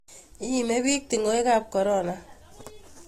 Iimi piich tung'wek ap korona